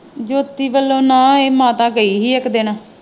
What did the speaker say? ਜੋਤੀ ਵਲੋਂ ਨਾ ਇਹ ਮਾਤਾ ਗਈ ਸੀ ਇੱਕ ਦਿਨ।